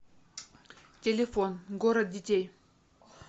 телефон город детей